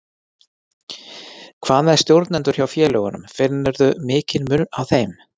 Hvað með stjórnendur hjá félögunum, finnurðu mikinn mun á þeim?